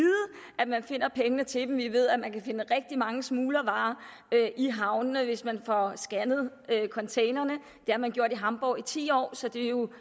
at man finder pengene til dem vi ved at man kan finde rigtig mange smuglervarer i havnene hvis man får scannet containerne det har man gjort i hamborg i ti år så det er jo